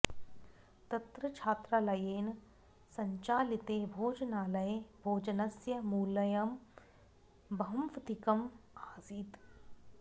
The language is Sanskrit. तत्र छात्रालयेन सञ्चालिते भोजनालये भोजनस्य मूल्यं बह्वधिकम् आसीत्